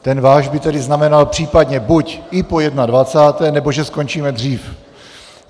Ten váš by tedy znamenal případně buď i po 21., nebo že skončíme dřív.